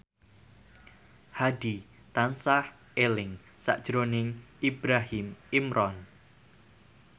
Hadi tansah eling sakjroning Ibrahim Imran